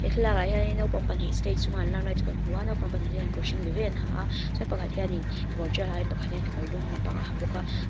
he thlalakah hianin naupang pahnih stage chunga an lam lai chu kan hmu a naupang pahnih te hian kawr hring ve ve an ha a chuan pakhat hian in kekawr tial hain pakhat hian ka kekawr dum lampang a ha bawk a.